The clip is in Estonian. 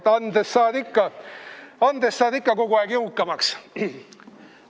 Vaata, andes saad ikka kogu aeg jõukamaks.